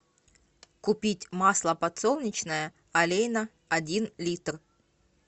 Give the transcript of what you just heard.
купить масло подсолнечное олейна один литр